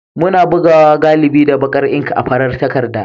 Muna bugawa galibi da baƙar ink akan farar takarda.